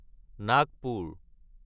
Nagpur